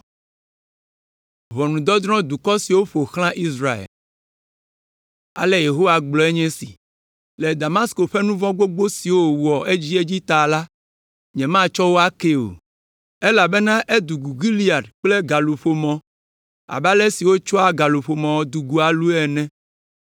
Ale Yehowa gblɔe nye esi: “Le Damasko ƒe nu vɔ̃ gbogbo siwo wòwɔ edziedzi ta la, nyematsɔ wo akee o, elabena edugu Gilead kple galuƒomɔ abe ale si wotsɔa galuƒomɔ dugua lu ene.